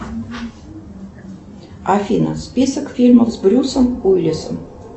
афина список фильмов с брюсом уилиссом